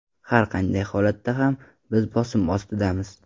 Har qanday holatda ham, biz bosim ostidamiz.